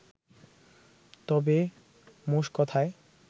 তবে মোষ কোথায়